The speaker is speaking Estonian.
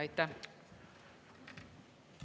Aitäh!